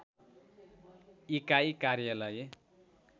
इकाइ कार्यालय